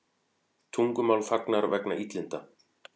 Tungumál þagnar vegna illinda